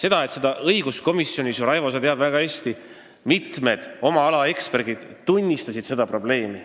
Raivo, sa tead ju väga hästi, et õiguskomisjonis mitu oma ala eksperti tunnistasid seda probleemi.